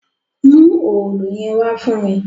Mú òòlù yẹn wá fún mí!